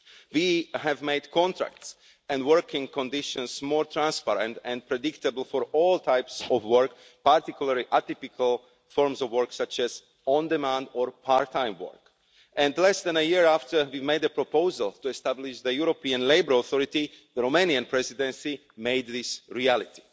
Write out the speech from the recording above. We have made contracts and working conditions more transparent and predictable for all types of work, particularly atypical forms of work such as on demand or part time work, and less than a year after we made a proposal to establish the European Labour Authority, the Romanian Presidency made this a reality.